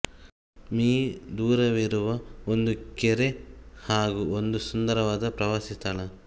me ದೂರವಿರುವ ಒಂದು ಕೆರೆ ಹಾಗು ಒಂದು ಸುಂದರವಾದ ಪ್ರವಾಸಿ ಸ್ಥಳ